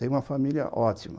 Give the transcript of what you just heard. Tenho uma família ótima.